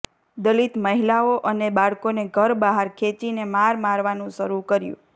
દલિત મહિલાઓ અને બાળકોને ઘર બહાર ખેંચીને માર મારવાનું શરૂ કર્યું